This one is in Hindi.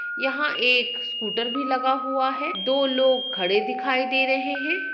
याहा एक स्कूटर भी लगा हुआ है दो लोग खड़े दिखाई दे रहे है।